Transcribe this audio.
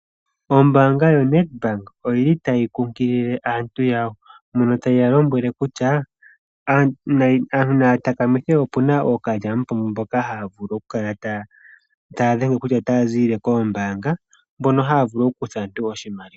Ombanga yoNed Bank oyi li tayi kunkilile aantu yawo mono tayi ya lombwele kutya aantu naya takamithe opu na ookalyamupombo mboka haya kala taya dhenge kutya otaya ziilile koombanga mbono haya vulu okukutha aantu oshimaliwa.